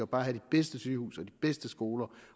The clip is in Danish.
bare have de bedste sygehuse og de bedste skoler